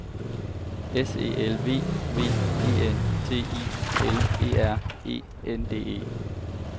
S E L V V E N T I L E R E N D E